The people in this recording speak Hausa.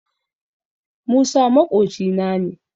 Musa maƙocina ne